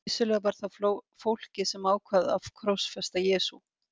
Vissulega var það fólkið sem ákvað að krossfesta Jesú.